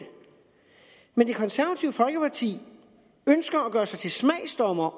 men det konservative folkeparti ønsker at gøre sig til smagsdommer